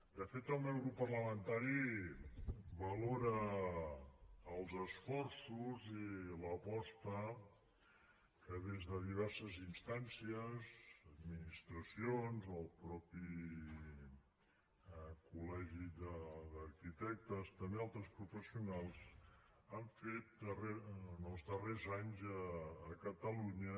de fet el meu grup parlamentari valora els esforços i l’aposta que des de diverses instàncies administracions o el mateix col·legi d’arquitectes també altres professionals s’han fet en els darrers anys a catalunya